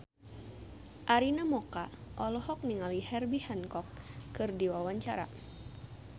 Arina Mocca olohok ningali Herbie Hancock keur diwawancara